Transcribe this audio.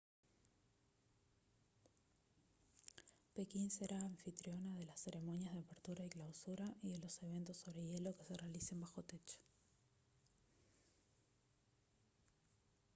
pekín será anfitriona de las ceremonias de apertura y clausura y de los eventos sobre hielo que se realicen bajo techo